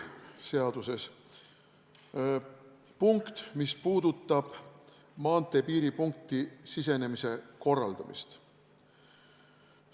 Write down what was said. Seaduses on punkt, mis puudutab maanteepiiripunkti sisenemise korraldamist.